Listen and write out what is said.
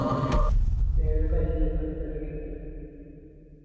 പരീക്ഷക്ക് എങ്ങനെ ഇരിക്കല്